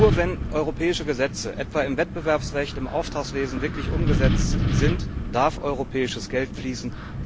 Nur wenn europäische Gesetze etwa im Wettbewerbsrecht, im Auftragswesen wirklich umgesetzt sind, darf europäisches Geld fließen.